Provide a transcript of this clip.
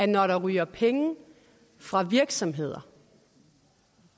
når der ryger penge fra virksomheder